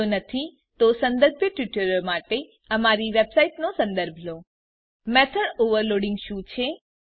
જો નથી તો સંદર્ભિત ટ્યુટોરીયલો માટે દર્શાવેલ અમારી વેબસાઈટનો સંદર્ભ લો httpwwwspoken tutorialઓર્ગ મેથોડ ઓવરલોડિંગ શું છે